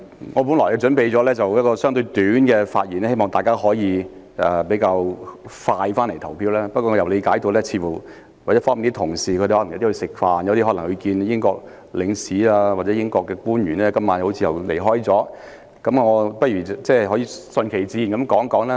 我本來準備了相對簡短的發言，希望大家可以盡快投票，但我理解到有些同事正在用膳或今晚因要與英國領事和官員會面而離開了會議廳，我不如順其自然地發言。